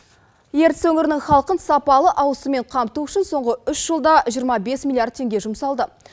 ертіс өңірінің халқын сапалы ауызсумен қамту үшін соңғы үш жылда жиырма бес миллиард теңге жұмсалды